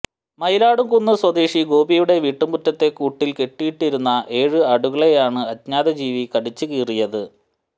മയിലാടുംകുന്ന് സ്വദേശി ഗോപിയുടെ വീട്ടുമുറ്റത്തെ കൂട്ടിൽ കെട്ടിയിട്ടിരുന്ന ഏഴ് ആടുകളെയാണ് അജ്ഞാത ജീവി കടിച്ച് കീറിയത്